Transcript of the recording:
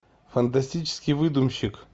фантастический выдумщик